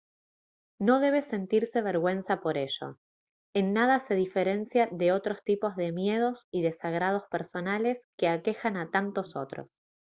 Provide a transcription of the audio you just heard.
no debe sentirse vergüenza por ello en nada se diferencia de otros tipos de miedos y desagrados personales que aquejan a tantos otros